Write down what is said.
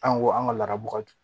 An ko an ka laadabagaw